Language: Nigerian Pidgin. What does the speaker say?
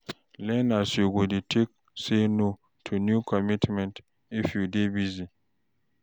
Learn as you go dey take say no to new commitments, if you dey busy.